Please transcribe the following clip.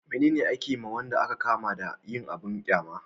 mene ne a ke ma wanda a ka kama na yin abun ƙyama?